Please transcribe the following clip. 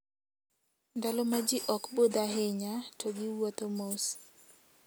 Ndalo ma ji ok budh ahinya, to giwuotho mos.